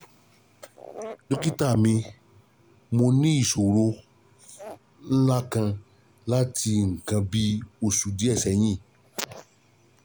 Dókítà mi, mo ní ìṣòro ńlá kan láti nǹkan bí oṣù díẹ̀ sẹ́yìn